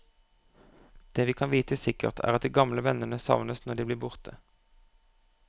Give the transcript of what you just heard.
Det vi kan vite sikkert, er at de gamle vennene savnes når de blir borte.